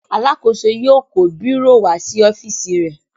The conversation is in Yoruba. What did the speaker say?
Alákòóso yóò kó bírò wá sí ọ́fíísì rẹ.